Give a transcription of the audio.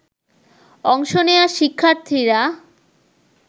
অংশ নেয়া শিক্ষার্থীরা